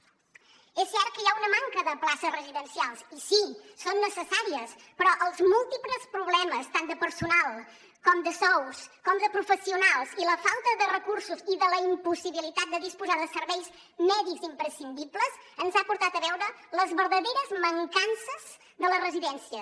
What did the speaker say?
és cert que hi ha una manca de places residencials i sí són necessàries però els múltiples problemes tant de personal com de sous com de professionals i la falta de recursos i la impossibilitat de disposar de serveis mèdics imprescindibles ens han portat a veure les verdaderes mancances de les residències